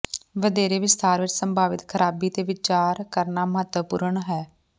ਵਧੇਰੇ ਵਿਸਥਾਰ ਵਿਚ ਸੰਭਾਵਿਤ ਖਰਾਬੀ ਤੇ ਵਿਚਾਰ ਕਰਨਾ ਮਹੱਤਵਪੂਰਣ ਹੈ